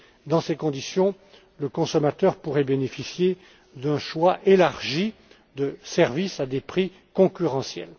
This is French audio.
Dans ces conditions, le consommateur pourrait bénéficier d'un choix élargi de services à des prix concurrentiels.